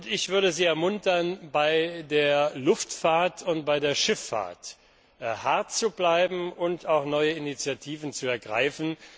Ich würde Sie ermuntern, bei der Luftfahrt und bei der Schifffahrt hart zu bleiben und auch neue Initiativen zu ergreifen.